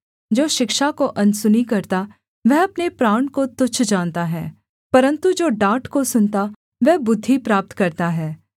जो शिक्षा को अनसुनी करता वह अपने प्राण को तुच्छ जानता है परन्तु जो डाँट को सुनता वह बुद्धि प्राप्त करता है